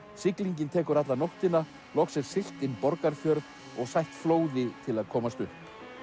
siglingin tekur alla nóttina loks er siglt inn Borgarfjörð og sætt flóði til að komast upp